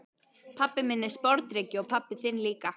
Pabbi minn er sporðdreki og pabbi þinn líka.